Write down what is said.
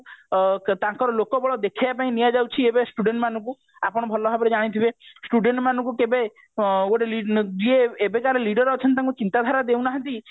ତାଙ୍କର ଲୋକବଳ ଦେଖେଇବା ପାଇଁ ନିଆଯାଉଛି ଏବେ student ମାନଙ୍କୁ ଆପଣ ଭଲ ଭାବରେ ଯାନିଥିବେ student ମାନଙ୍କୁ କେବେ ଯିଏ ଏବେକାର leader ଅଛନ୍ତି ତାଙ୍କୁ ଚିନ୍ତାଧାରା ଦେଉ ନାହାନ୍ତି